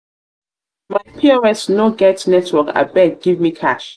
pos no get network abeg give me cash.